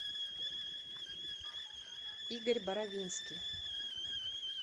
игорь боровинский